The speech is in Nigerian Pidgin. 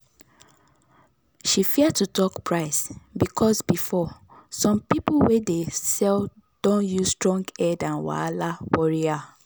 she fear to talk price because before some people way dey sell don use strong head and wahala worry her.